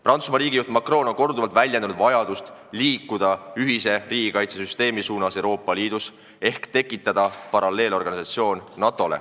Prantsusmaa president Macron on korduvalt väljendanud vajadust liikuda ühise riigikaitsesüsteemi suunas Euroopa Liidus ehk tekitada NATO-ga paralleelne organisatsioon.